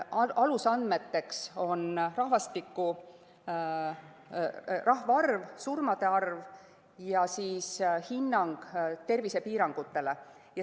Alusandmeteks on rahvaarv, surmade arv ja hinnang tervisepiirangutele.